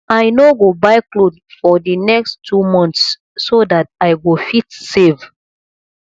i no go buy cloth for the next two months so dat i go fit save